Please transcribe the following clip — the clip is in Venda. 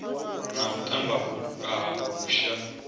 na u tamba vhutuka vhusha